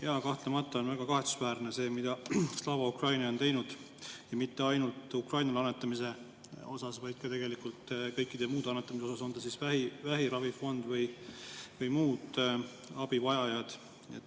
Jaa, kahtlemata on väga kahetsusväärne see, mida Slava Ukraini on teinud, ja mitte ainult Ukrainale annetamise puhul, vaid tegelikult ka kõikide muude annetamiste puhul, on see vähiravifond või teised abivajajad.